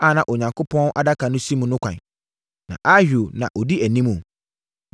a na Onyankopɔn Adaka no si mu no kwan. Na Ahio na ɔdi animu.